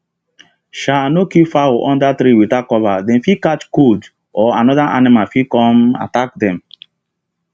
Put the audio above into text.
um no keep fowl under tree without cover dem fit catch cold or another animal fit come attack um dem